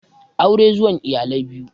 Aure zuwan iyalai biyu